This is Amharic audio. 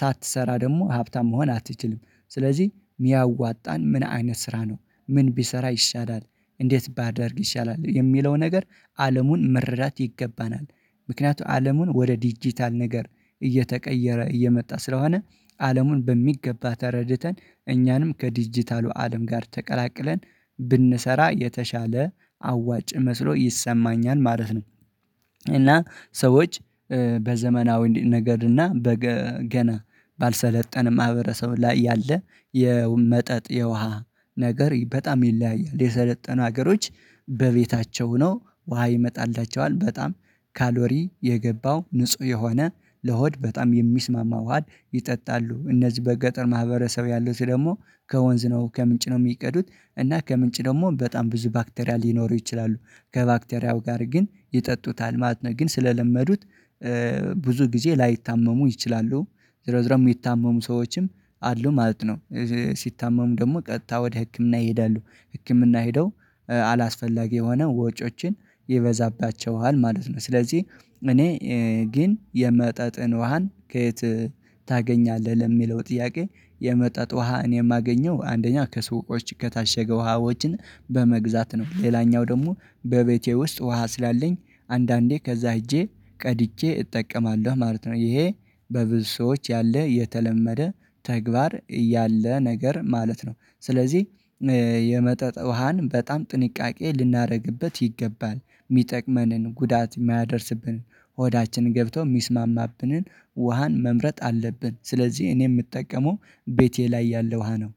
ሳትሰራ ደግሞ ሀብታም መሆን አትችልም። ስለዚህ የሚያዋጣን ምን አይነት ስራ ነው ምን ቢሰራ ይሻላል? እንዴት ባደርግ ይሻላል የሚለው ነገር አለሙን መረዳት ይገባናል። ምክንያቱም አለሙን ወደ ዲጂታል ነገር እየተቀየረ እየመጣ ስለሆነ አለሙን በሚገባ ተረድተን እኛንም ከዲጂታሉ አለም ጋር ተቀላቅለን ብንሰራ የተሻለ አዋጭ መስሎ ይሰማኛል ማለት ነው። እና ሰዎች በዘመናዊ ነገር እና በገና ባልሰለጠነ ማህበረሰብ ላይ ያለ የመጠጥ የውሃ ነገር በጣም ይለያያል የሰለጠኑ ሀገሮች በቤታቸው ሆኖ ውሃ ይመጣላቸዋል። በጣም ካሎሪ የገባው ንጹህ የሆነ ለሆድ በጣም የሚስማማው ውሃ ይጠጣሉ። እነዚህ በገጠር ማህበረሰብ ያለው ስለዚህ ደግሞ ከወንዝ ነው ከምንጭ ነው የሚቀዱት። እና ከምንጭ ደግሞ በጣም ብዙ ባክቴሪያ ሊኖሩ ይችላሉ ከባክቴሪያው ጋር ግን ይጠጡታል ማለት ነው። ግን ስለለመዱት ብዙ ጊዜ ላይታመሙ ይችላሉ። ዝሮ ዝሮ የሚታመሙ ሰዎችም አሉ ማለት ነው። ሲታመሙ ደግሞ ቀጥታ ወደ ህክምና ይሄዳሉ። ህክምና ሄደው አላስፈላጊ የሆነ ወጪዎችን ይበዛባቸዋል ማለት ነው። ስለዚህ እኔ ግን የመጠጥን ውሃን ከየት ታገኛለህ? ለሚለው ጥያቄ የመጠጥ ውሃን እኔ የማገኘው አንደኛው ከስቆች ከታሸገ ውሃዎችን በመግዛት ነው። ሌላኛው ደግሞ በቤቴ ውስጥ ውሃ ስላለኝ አንዳንዴ ከዛ ሄጄ ቀድጄ እጠቀማለሁ ማለት ነው። ይሄ በብዙ ሰዎች ያለ የተለመደ ተግባር ያለ ነገር ማለት ነው። ስለዚህ የመጠጥ ውሃን በጣም ጥንቃቄ ልናደርግበት ይገባል። የሚጠቅመንን ጉዳት የማያደርስብን ሆዳችን ገብቶ ሚስማማብንን ውሃን መምረጥ አለብን። ስለዚህ እኔ የምጠቀመው ቤቴ ላይ ያለ ውሃ ነው